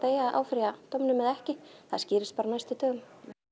á að áfrýja dóminum eða ekki það skýrist bara á næstu dögum